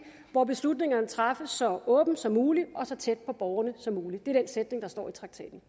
hvor beslutningerne træffes så åbent som muligt og så tæt på borgerne som muligt det er den sætning der står i traktaten